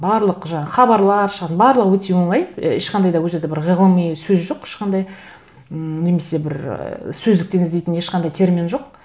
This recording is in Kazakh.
барлық жаңа хабарлар барлығы өте оңай і ешқандай да ол жерде бір ғылыми сөз жоқ ешқандай ммм немесе бір ы сөздіктен іздейтін ешқандай термин жоқ